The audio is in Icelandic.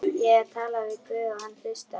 Ég tala við guð og hann hlustar.